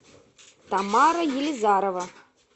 тамара елизарова